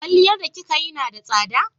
Kwalliyar da kika yi na da tsada?